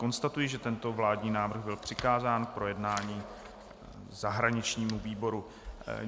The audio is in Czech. Konstatuji, že tento vládní návrh byl přikázán k projednání zahraničnímu výboru.